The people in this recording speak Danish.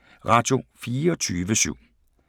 Radio24syv